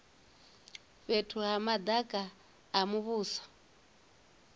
fhethu ha madaka a muvhuso